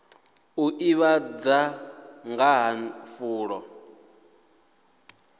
u ḓivhadza nga ha fulo